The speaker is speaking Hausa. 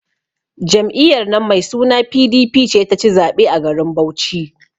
Jam'iyyar nan mai suna PDP ce ta ci zaɓe a garin Bauchi.